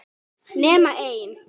Nema einn.